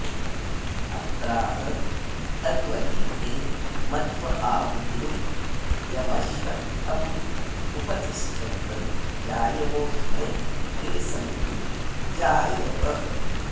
अत्राह तद्वहेथे मध्व आहुतिं यमश्वत्थमुपतिष्ठन्त जायवोऽस्मे ते सन्तु जायवः